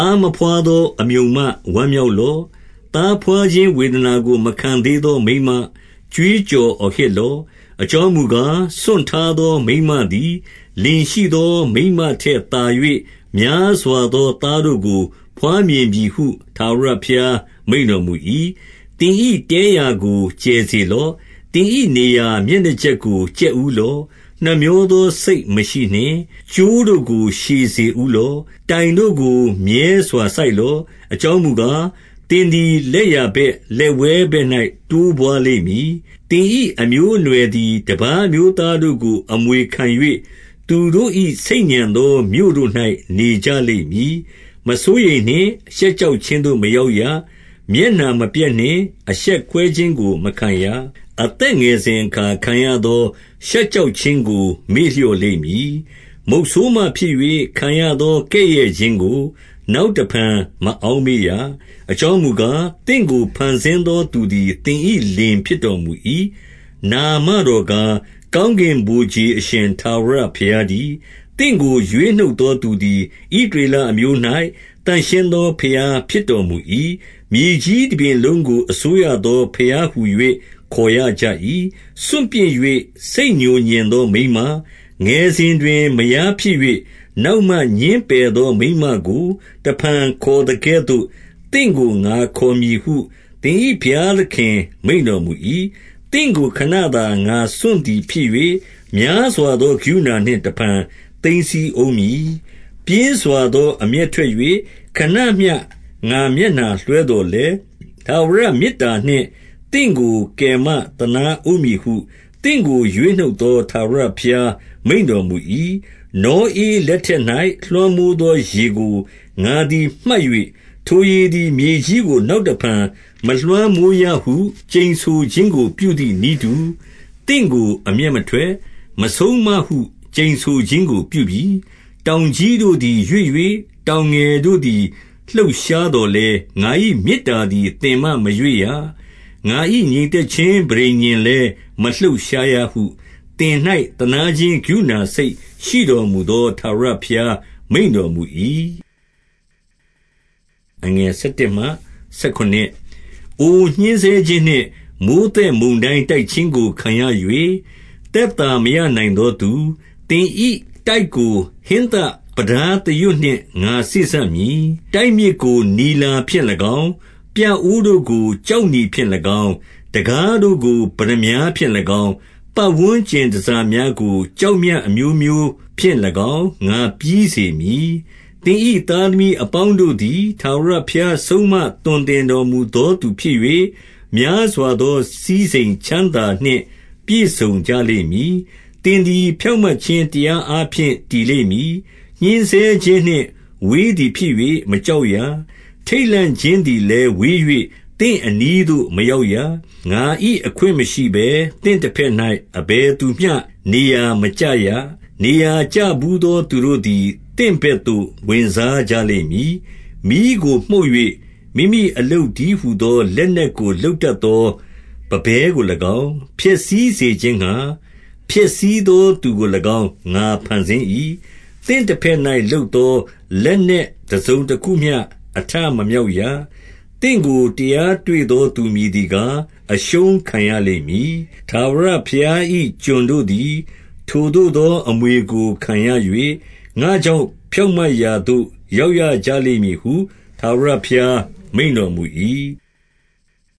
ားမဘွားသော အမြုံမ၊ ဝမ်းမြောက်လော့။ သားဘွားခြင်းဝေဒနာကို မခံသေးသော မိန်းမ၊ ကြွေး ကြော်အော်ဟစ်လော့။ အကြောင်းမူကား၊ စွန့်ထားသော မိန်းမသည် လင်ရှိသော မိန်းမထက်သာ၍ များသော သားတို့ကို ဘွားမြင်ပြီဟု ထာဝရဘုရားမိန့်တော်မူ၏။ 2 သင်၏တဲရာကို ကျယ်စေလော့။ သင်၏နေရာ မျက်နှာကြက်ကို ကြက်ဦးလော့။ နှမြောသော စိတ်မရှိ နှင့်။ ကြိုးတို့ကို ရှည်စေဦးလော့။ တိုင်တို့ကို မြဲစွာ စိုက် လော့။ 3 အကြောင်းမူကား၊ သင်သည် လက်ျာဘက်၊ လက်ဝဲဘက်၌ တိုးပွားလိမ့်မည်။ သင်၏အမျိုးအနွယ် သည် တပါးအမျိုးသားတို့ကို အမွေခံ၍၊ သူတို့၏ ဆိတ်ညံ သော မြို့တို့၌ နေကြလိမ့်မည်။ 4 မစိုးရိမ်နှင့်။ ရှက်ကြောက်ခြင်းသို့မရောက်ရ။ မျက်နှာမပျက်နှင့်။ အရှက်ကွဲခြင်းကို မခံရ။ အသက် ငယ်စဉ်အခါ ခံရသော ရှက်ကြောက်ခြင်းကို မေ့လျော့ လိမ့်မည်။ မုတ်ဆိုးမဖြစ်၍ ခံရသော ကဲ့ရဲ့ခြင်းကို နောက် တဖန် မအောက်မေ့ရ။ 5 အကြောင်းမူကား၊ သင့်ကို ဖန်ဆင်းသော သူ သည် သင်၏လင်ဖြစ်တော်မူ၏။ နာမတော်ကား၊ ကောင်း ကင်ဗိုလ်ခြေအရှင်ထာဝရဘုရားတည်း။ သင့်ကို ရွေးနှုတ် သော သူသည် ဣသရေလအမျိုး၌ သန့်ရှင်းသော ဘုရား ဖြစ်တော်မူ၏။ မြေကြီးတပြင်လုံးကို အစိုးရသော ဘုရားဟူ၍ ခေါ်ရကြ၏။ 6 စွန့်ပစ်၍ စိတ်ငြိုငြင်သော မိန်းမ၊ ငယ်စဉ်တွင် မယားဖြစ်၍၊ နောက်မှ ငြင်းပယ်သော မိန်းမကို တဖန် ခေါ်သကဲ့သို့ သင့်ကို ငါခေါ်မည်ဟု သင်၏ဘုရားသခင် မိန့်တော်မူ၏။ 7 သင့်ကို ခဏသာ ငါစွန့်သည် ဖြစ်၍၊ များစွာ သော ကရုဏာနှင့် တဖန်သိမ်းဆည်းဦးမည်။ 8 ပြင်းစွာသော အမျက်ထွက်၍ ခဏမျှ ငါမျက်နှာ လွှဲသော်လည်း၊ ထာဝရမေတ္တာနှင့် သင့်ကို ကယ်မသနား ဦးမည်ဟု သင့်ကို ရွေးနှုတ်သော ထာဝရဘုရား မိန့်တော် မူ၏။ 9 နောဧလက်ထက်၌ လွှမ်းမိုးသောရေကို ငါသည် မှတ်၍၊ ထိုရေသည် မြေကြီးကို နောက်တဖန်မလွှမ်းမိုးရ ဟု ကျိန်ဆိုခြင်းကို ပြုသည်နည်းတူ၊ သင့်ကို အမျက် မထွက်၊ မဆုံးမဟု ကျိန်ဆိုခြင်းကို ပြုပြီ။ 10 တောင်ကြီးတို့သည် ရွေ့၍၊ တောင်ငယ်တို့သည် လှုပ်ရှားသော်လည်း၊ ငါ၏မေတ္တာသည် သင်မှ မရွေ့ရ။ ငါ၏ငြိမ်သက်ခြင်း ပဋိညာဉ်လည်း မလှုပ်ရှားရဟု သင်၌ သနားခြင်းကရုဏာစိတ်ရှိတော်မူသော ထာဝရဘုရား မိန့်တော်မူ၏။ 11 အို ညှဉ်းဆဲခြင်းနှင့် မိုဃ်းသက်မုန်တိုင်း တိုက် ခြင်းကို ခံရ၍၊ သက်သာမရနိုင်သောသူ၊ သင်၏ တိုက်ကို ဟင်းသပြတားသရွတ်နှင့် ငါစေ့စပ်မည်။ တိုက်မြစ်ကို နီလာဖြင့်၎င်း၊ 12 ပြအိုးတို့ကို ကျောက်နီဖြင့်၎င်း၊ တံခါးတို့ကို ပတ္တ မြားဖြင့်၎င်း၊ ပတ်ဝန်းကျင်တန်ဆာများကို ကျောက်မြတ် အမျိုးမျိုးဖြင့်၎င်း ငါပြီးစေမည်။ 13 သင်၏သားသမီးအပေါင်းတို့သည် ထာဝရ ဘုရား ဆုံးမ သွန်သင်တော်မူသောသူဖြစ်၍၊ များစွာ သော စည်းစိမ်ချမ်းသာနှင့် ပြည့်စုံ ကြလိမ့်မည်။ 14 သင်သည် ဖြောင့်မတ်ခြင်းတရားအားဖြင့် တည် လိမ့်မည်။ ညှဉ်းဆဲခြင်းနှင့် ဝေးသည်ဖြစ်၍ မကြောက်ရ။ ထိတ်လန့်ခြင်းသည်လည်း ဝေး၍၊ သင့်အနီးသို့မရောက် ရ။ 15 ငါ၏အခွင့်မရှိဘဲ သင့်တဘက်၌ အဘယ်သူမျှ နေရာမကျရ။ နေရာကျဘူးသောသူတို့သည် သင့်ဘက်သို့ ဝင်စားကြလိမ့်မည်။ 16 မီးကိုမှုတ်၍၊ မိမိအလုပ်တည်းဟူသောလက်နက် ကိုလုပ်တတ်သောပန်းပဲကို၎င်း၊ ဖျက်ဆီးစေခြင်းငှါ ဖျက်ဆီးသောသူကို၎င်း ငါဖန်ဆင်း၏။ 17 သင့်တဘက်၌ လုပ်သောလက်နက် တစုံတခုမျှ အထမမြောက်ရ။ သင့်ကိုတရား တွေ့သောသူ မည်သည် ကား၊ အရှုံးခံရလိမ့်မည်။ ထာဝရဘုရား၏ ကျွန်တို့သည် ထိုသို့သော အမွေကို ခံရ၍၊ ငါ့ကြောင့် ဖြောင့်မတ်ရာသို့ ရောက်ရကြလိမ့်မည်ဟု ထာဝရဘုရား မိန့်တော်မူ၏။